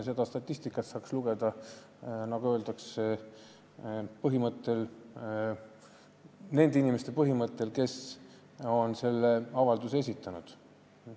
Seda statistikat saaks teha nende inimeste alusel, kes on sellise avalduse esitanud.